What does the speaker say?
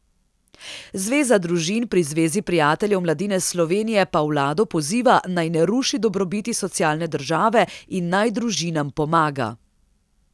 Zveza družin pri Zvezi prijateljev mladine Slovenije pa vlado poziva, naj ne ruši dobrobiti socialne države in naj družinam pomaga.